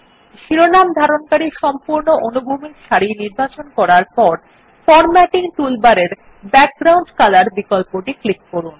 শিরোনাম ধারণকারী সম্পূর্ণ অনুভূমিক সারি নির্বাচন করার পর ফরম্যাটিং টুলবারের ব্যাকগ্রাউন্ড কলর বিকল্পটি ক্লিক করুন